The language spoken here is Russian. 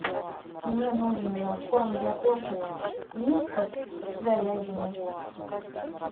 мне нужен корм для кошек вискас с говядиной